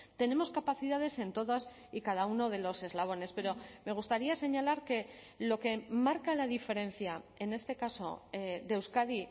tenemos capacidades en todas y cada uno de los eslabones pero me gustaría señalar que lo que marca la diferencia en este caso de euskadi